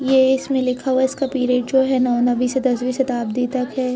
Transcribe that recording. ये इसमें लिखा हुआ है इसका पीरियड जो है नौ नवी से दसवीं शताब्दी तक है।